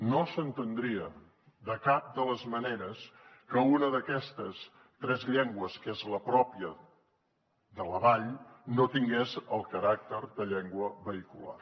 no s’entendria de cap de les maneres que una d’aquestes tres llengües que és la pròpia de la vall no tingués el caràcter de llengua vehicular